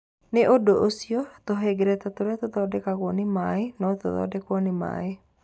Nĩ ũndũ ũcio, tũhengereta tũrĩa tũthondekagwo nĩ maĩ no tũthondekwo nĩ maĩ.